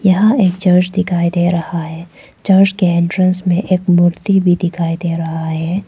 यहां एक चर्च दिखाई दे रहा है चर्च के एंट्रेंस में एक मूर्ति भी दिखाई दे रहा है।